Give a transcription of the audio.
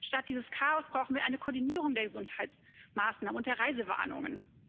Statt dieses Chaos brauchen wir eine Koordinierung der Gesundheitsmaßnahmen und der Reisewarnungen.